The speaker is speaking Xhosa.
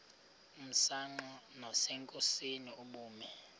msanqa nasenkosini ubume